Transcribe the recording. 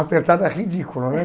Apertada ridícula, né?